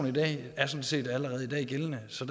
i dag er sådan set allerede gældende så